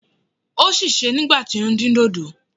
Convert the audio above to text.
Ó sèse nígbà tí ó ń dín dòdò.